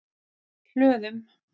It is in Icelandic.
Hlöðum